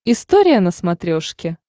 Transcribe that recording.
история на смотрешке